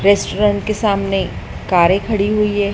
Restaurant के सामने कारे खड़ी हुई हैं।